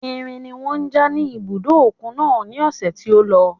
Irin ni wọ́n ja ní ibùdó òkun náà ní ọ̀sẹ̀ tí ó lọ.